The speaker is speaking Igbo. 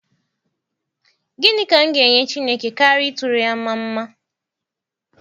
Gịnị ka m ga enye Chineke karịa ịtụrụ ya mma mma?